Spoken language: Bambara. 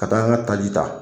Ka taa n ka taji ta.